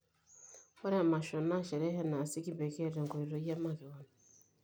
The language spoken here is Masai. Ore emasho naa sherehe naasi kipekee tenkoitoi emakewon.